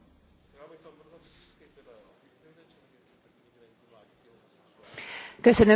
A szívem elszorult, amikor az európai innovációs intézetről szavaztunk.